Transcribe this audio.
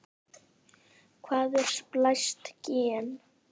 Hvað er splæst gen?